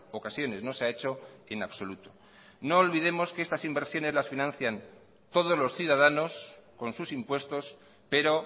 ocasiones no se ha hecho en absoluto no olvidemos que estas inversiones las financian todos los ciudadanos con sus impuestos pero